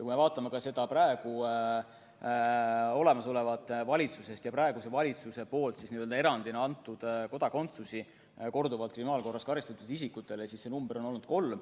Kui me vaatame praegust valitsust ja arvu, kui paljudele korduvalt kriminaalkorras karistatud isikutele on praegune valitsus erandina kodakondsuse andnud, siis näeme, et see number on kolm.